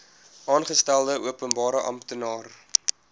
aangestelde openbare amptenaar